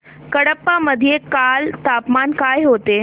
कडप्पा मध्ये काल तापमान काय होते